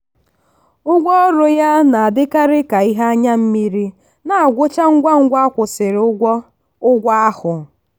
ụgwọọrụ ya na-adịkarị ka ihe anya mmiri na-agwụcha ngwa ngwa akwụsiri ụgwọ ụgwọ ahụ.